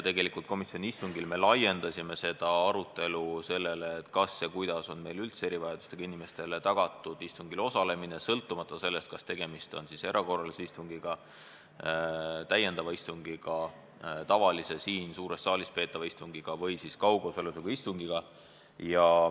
Komisjoni istungil me tegelikult laiendasime seda arutelu ja jõudsime selleni, kas ja kuidas on meil üldse tagatud erivajadustega inimestele istungil osalemine, sõltumata sellest, kas tegemist on erakorralise istungiga, täiendava istungiga, tavalise suures saalis peetava istungiga või kaugosalusega istungiga.